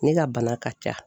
Ne ka bana ka ca